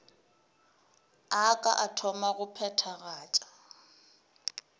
a ka thoma go phethagatša